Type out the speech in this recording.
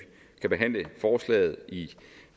kan behandle forslaget